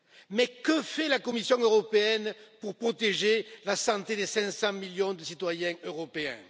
Mais que fait la Commission européenne pour protéger la santé des 500 millions de citoyens européens?